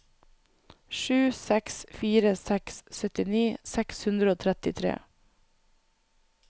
sju seks fire seks syttini seks hundre og trettitre